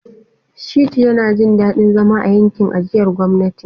Shittu yana jin daɗin zama a yankin ajiyar gwamnati.